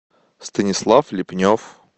станислав лепнев